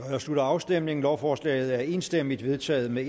jeg slutter afstemningen lovforslaget er enstemmigt vedtaget med